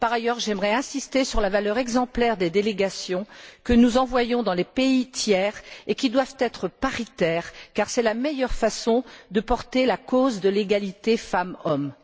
Par ailleurs, j'aimerais insister sur la valeur exemplaire des délégations que nous envoyons dans les pays tiers et qui doivent être paritaires car c'est la meilleure façon de porter la cause de l'égalité femmes hommes.